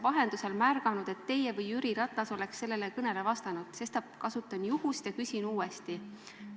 " Ma ei ole märganud, et teie või Jüri Ratas oleks sellele pöördumisele ajakirjanduse kaudu vastanud, sestap kasutan juhust ja küsin uuesti.